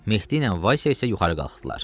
Mehdi ilə Vaysə isə yuxarı qalxdılar.